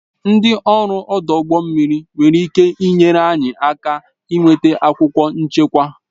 Ndị ọrụ ọdụ ụgbọ mmiri nwere ịke nyere anyị aka nweta akwụkwọ nchekwa